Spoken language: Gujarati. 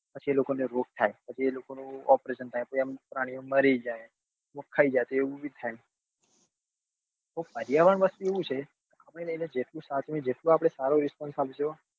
પછી એ લોકો ને રોગ થાય પછી એ લોકો નું operation થાય પછી એ આમ પ્રાણી ઓ મારી જાય કોક ખાઈ જાય તો એવું બી થાય પર્યાવરણ વસ્તુ એવું છે આપડે એને જેટલું સાચવીએ જેટલું આપડે એને સારો response આપસો